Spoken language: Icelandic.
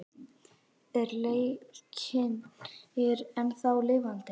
Er Leiknir ennþá lifandi?